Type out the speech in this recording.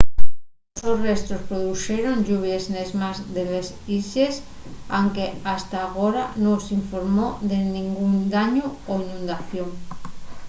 los sos restos produxeron lluvies nes más de les islles anque hasta agora nun s’informó de nengún dañu o inundación